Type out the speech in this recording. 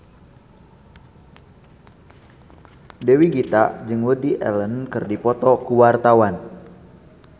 Dewi Gita jeung Woody Allen keur dipoto ku wartawan